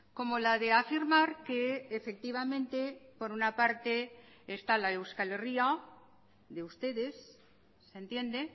como la de afirmar que efectivamente por una parte está la euskal herria de ustedes se entiende